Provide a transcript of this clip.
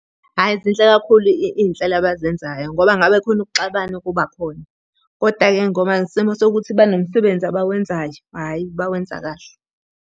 Hhayi zinhle kakhulu iy'nhlelo abazenzayo, ngoba ngabe khona ukuxabana okubakhona. Koda-ke ngoba ngesimo sokuthi banomsebenzi abawenzayo, hhayi bawenza kahle.